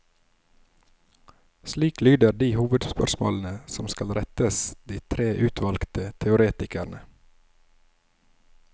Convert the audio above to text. Slik lyder de hovedspørsmålene som skal rettes de tre utvalgte teoretikerne.